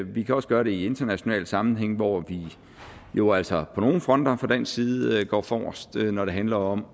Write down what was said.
vi kan også gøre det i international sammenhæng hvor vi jo altså på nogle fronter fra dansk side går forrest når det handler om